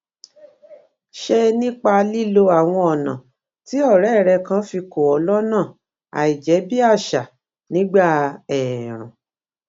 ṣe nípa lílo àwọn ònà tí òré rè kan fi kó ọ lónà àìjébíàṣà nígbà èèrùn